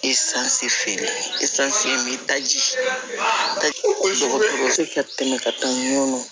feere taji ka tɛmɛ ka taa ɲɔn